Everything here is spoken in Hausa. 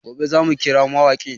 Gobe za mu kira mawaƙin